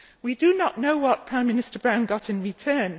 We do not know what Prime Minister Brown got in return.